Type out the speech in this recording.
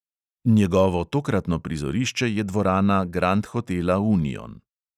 Njegovo tokratno prizorišče je dvorana grand hotela union.